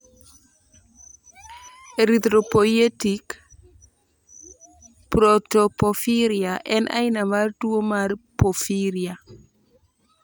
Erythropoietic protoporphyria en aina mar tuwo mar porphyria